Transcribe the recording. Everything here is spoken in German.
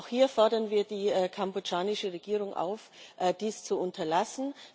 Auch hier fordern wir die kambodschanische Regierung auf, dies zu unterlassen.